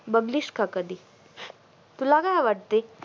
बघलीस का कधी तुला काय वाटतय